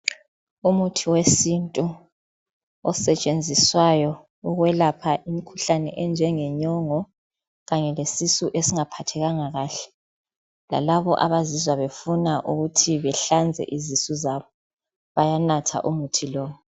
Umuthi wesintu osetshenziswayo ukwelapha imikhuhlane enjengenyongo kanye lesisu esingaphathekanga kahle, lalabo abazizwa befuna ukuthi behlanze izisu zabo bayanatha umuthi lo.